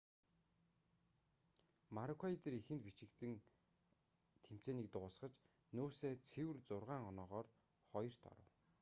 марүүкайдор эхэнд бичигдэн тэмцээнийг дуусгаж нүүса цэвэр зургаан оноогоор хоёрт оров